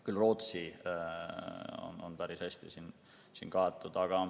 Ka Rootsi on päris hästi kaetud.